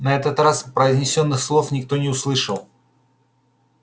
на этот раз произнесённых слов никто не услышал